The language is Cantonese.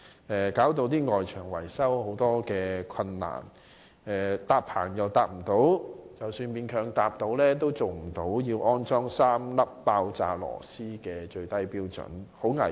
這些設計導致外牆維修出現很多困難，例如未能搭建棚架，即使勉強搭棚，亦做不到要安裝3粒爆炸螺絲的最低標準，實在很危險。